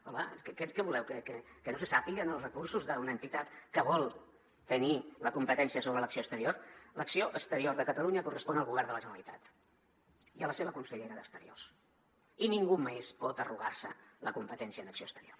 què voleu que no se sàpiguen els recursos d’una entitat que vol tenir la competència sobre l’acció exte·rior l’acció exterior de catalunya correspon al govern de la generalitat i a la seva consellera d’exteriors i ningú més pot arrogar·se la competència en acció exterior